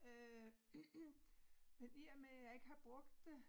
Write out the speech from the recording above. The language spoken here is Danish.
Øh men i og med jeg ikke har brugt det